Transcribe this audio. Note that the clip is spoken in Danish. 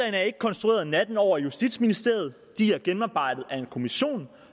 er ikke konstrueret natten over i justitsministeriet de er gennemarbejdet af en kommission